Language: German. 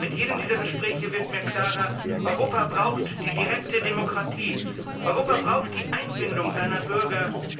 Mit jedem dieser Gespräche wird mir klarer Europa braucht die direkte Demokratie, Europa braucht die Einbindung seiner Bürger.